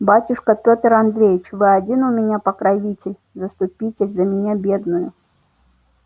батюшка пётр андреич вы один у меня покровитель заступите за меня бедную